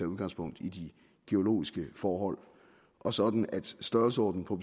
udgangspunkt i de geologiske forhold og sådan at størrelsen på